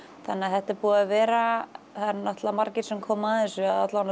þannig að þetta er búið að vera það eru náttúrulega margir sem koma að þessu